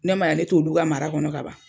N'a man ɲa ne t'olu ka mara kɔnɔ ka ban